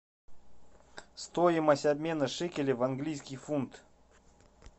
стоимость обмена шекелей в английский фунт